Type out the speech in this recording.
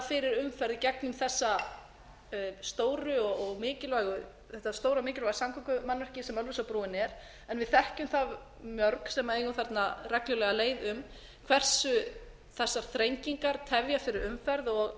fyrir umferð gegnum þessi stóru og mikilvægu samgöngumannvirki sem ölfusárbrúin er en við þekkjum það mörg sem eigum þarna reglulega leið um hversu þessar þrengingar tefja fyrir umferð